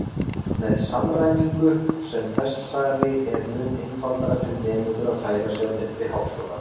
Með samræmingu sem þessari er mun einfaldara fyrir nemendur að færa sig á milli háskóla.